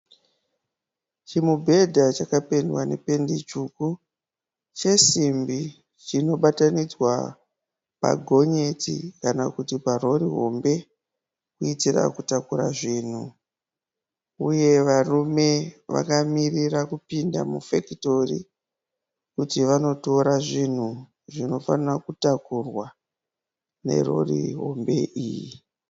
Chimubhedha chakapendwa nependi tsvuku chesimbi chinobatanidzwa pagonyeti kana kuti parori hombe kuitira kutakura zvinhu uye varume vakamirira kupinda mufekitori kuti vanotora zvinhu zvinofanira kutakurwa nerori hombe iyi.